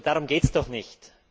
Nur darum geht es doch nicht.